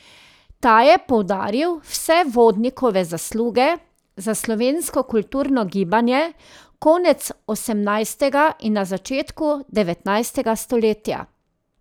Ta je poudaril vse Vodnikove zasluge za slovensko kulturno gibanje konec osemnajstega in na začetku devetnajstega stoletja.